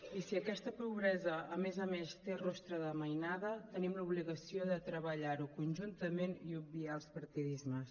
i si aquesta pobresa a més a més té rostre de mainada tenim l’obligació de treballar ho conjuntament i obviar els partidismes